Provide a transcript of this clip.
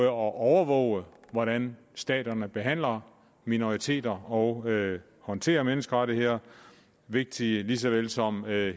at overvåge hvordan staterne behandler minoriteter og håndterer menneskerettigheder vigtigt lige så vel som at